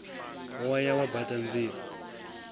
wo ya wa baṱa nzie